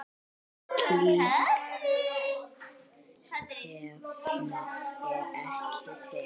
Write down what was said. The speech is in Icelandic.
Slík stefna er ekki til.